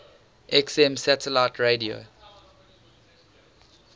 xm satellite radio